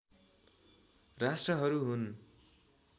राष्ट्रहरू हुन्